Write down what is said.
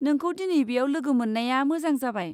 नोंखौ दिनै बेयाव लोगो मोन्नाया मोजां जाबाय।